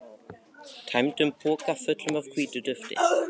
tæmdum pokum, fullum af hvítu dufti.